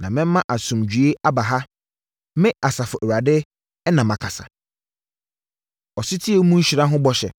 ‘Na mɛma asomdwoeɛ aba ha.’ Me, Asafo Awurade na makasa.” Ɔsetie Mu Nhyira Ho Bɔhyɛ